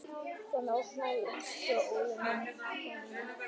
Konan opnaði öskjuna.